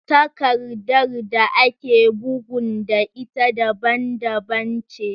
Takardar da ake bugun da ita daban daban ce